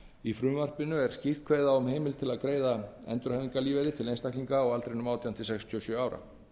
í frumvarpinu er skýrt kveðið á um heimild til að greiða endurhæfingarlífeyri til einstaklinga á aldrinum átján til sextíu og sjö ára